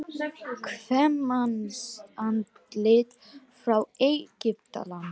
Kvenmannsandlit frá Egyptalandi.